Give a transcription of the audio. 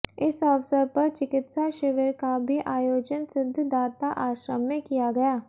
इस अवसर पर चिकित्सा शिविर का भी आयोजन सिद्धदाता आश्रम में किया गया